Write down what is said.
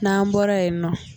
N'an bɔra yen nɔ